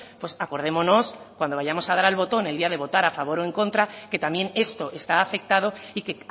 pues acordémonos cuando vayamos a dar al botón el día de votar a favor o en contra que también esto está afectado y que